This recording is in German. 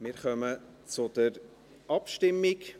Wir kommen zur Abstimmung.